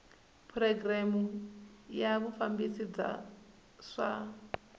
programu ya vufambisi bya swa